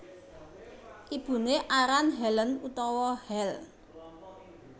Ibuné aran Helen utawa Hel